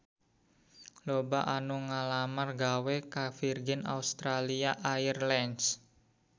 Loba anu ngalamar gawe ka Virgin Australia Airlines